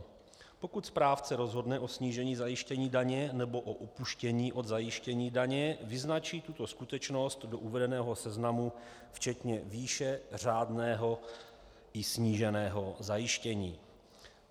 Pokud správce rozhodne o snížení zajištění daně nebo o upuštění od zajištění daně, vyznačí tuto skutečnost do uvedeného seznamu včetně výše řádného i sníženého zajištění.